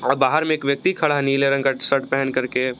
और बाहर में एक व्यक्ति खड़ा नीले रंग का शर्ट पहन करके।